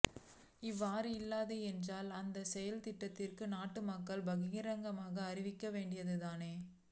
அவ்வாறு இல்லை என்றால் அந்தச் செயற்திட்டத்தை நாட்டு மக்களுக்கு பகிரங்கமாக அறிவிக்கவேண்டியது தானே